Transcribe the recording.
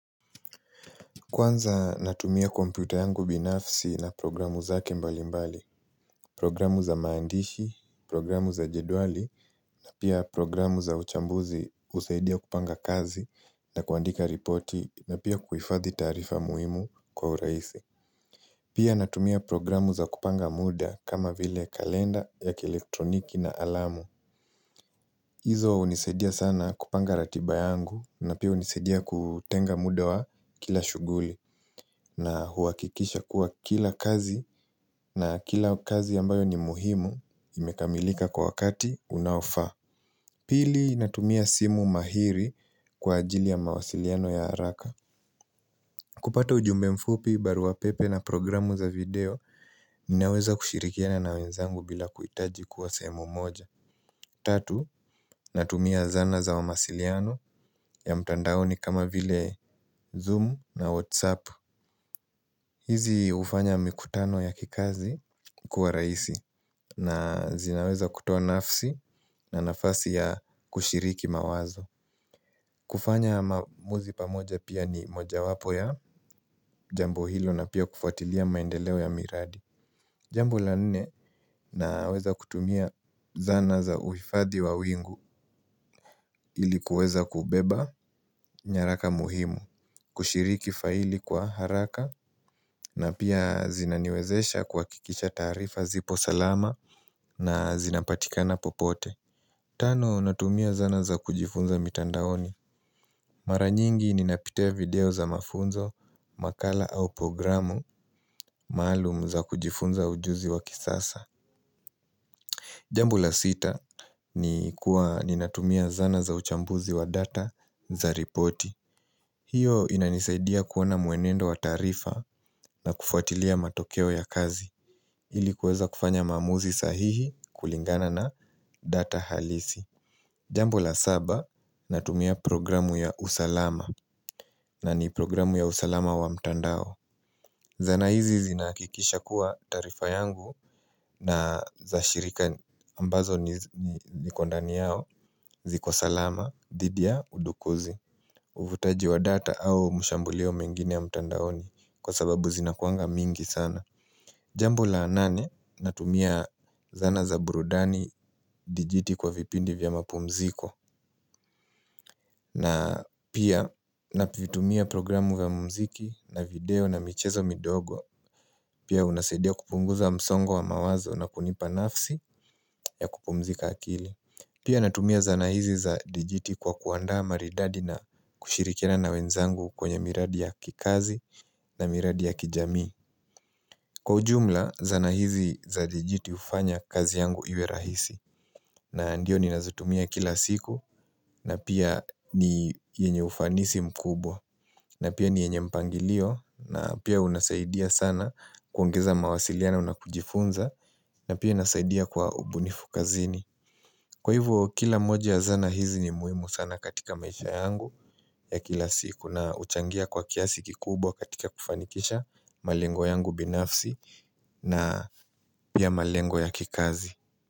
Kwanza natumia kompyuta yangu binafsi na programu zake mbali mbali, programu za maandishi, programu za jedwali, na pia programu za uchambuzi husaidia kupanga kazi na kuandika ripoti na pia kuhifadhi tarifa muhimu kwa uraisi. Pia natumia programu za kupanga muda kama vile kalenda ya kielektroniki na alamu. Izo hunisaudia sana kupanga ratiba yangu na pia hunisaudia kutenga muda wa kila shughuli na huakikisha kuwa kila kazi na kila kazi ambayo ni muhimu imekamilika kwa wakati unaofaa. Pili natumia simu mahiri kwa ajili ya mawasiliano ya haraka. Kupata ujumbe mfupi, baruapepe na programu za video, ninaweza kushirikiana na wenzangu bila kuhitaji kuwa sehemu moja. Tatu, natumia zana za wamasiliano ya mtandaoni kama vile zoom na whatsapp. Hizi hufanya mikutano ya kikazi kuwa rahisi na zinaweza kutoa nafsi na nafasi ya kushiriki mawazo. Kufanya maamuzi pamoja pia ni moja wapo ya Jambo hilo na pia kufatilia maendeleo ya miradi Jambo la nne naweza kutumia zana za uhifadhi wa wingu ili kuweza kubeba nyaraka muhimu kushiriki faili kwa haraka na pia zinaniwezesha kuhakikisha taarifa zipo salama na zinapatikana popote Tano natumia zana za kujifunza mitandaoni Mara nyingi ninapitia video za mafunzo makala au programu maalum za kujifunza ujuzi wa kisasa Jambo la sita ni kuwa ninatumia zana za uchambuzi wa data za ripoti hiyo inanisaidia kuona muenendo wa taarifa na kufuatilia matokeo ya kazi ili kuweza kufanya maamuzi sahihi kulingana na data halisi Jambo la saba natumia programu ya usalama na ni programu ya usalama wa mtandao Zana hizi zinahakikisha kuwa taarifa yangu na za shirika ambazo niko ndani yao ziko salama dhidi ya udokozi Uvutaji wa data au mashambulio mengine ya mtandaoni kwa sababu zinakua mingi sana Jambo la nane, natumia zana za burudani dijiti kwa vipindi vya mapumziko na pia navitumia programu vya mumziki na video na michezo midogo Pia unasaidia kupunguza msongo wa mawazo na kunipa nafsi ya kupumzika akili Pia natumia zana hizi za dijiti kwa kuanda maridadi na kushirikiana na wenzangu kwenye miradi ya kikazi na miradi ya kijamii. Kwa ujumla, zana hizi za dijiti hufanya kazi yangu iwe rahisi na ndiyo ninazitumia kila siku na pia ni yenye ufanisi mkubwa na pia ni yenye mpangilio na pia unasaidia sana kuongeza mawasiliano na kujifunza na pia inasaidia kwa ubunifu kazini. Kwa hivyo kila mmoja ya zana hizi ni muhimu sana katika maisha yangu ya kila siku na huchangia kwa kiasi kikubwa katika kufanikisha malengo yangu binafsi na pia malengo ya kikazi.